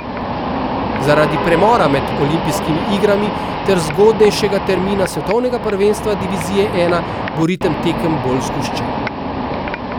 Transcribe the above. Zaradi premora med olimpijskimi igrami ter zgodnejšega termina svetovnega prvenstva divizije I bo ritem tekem bolj zgoščen.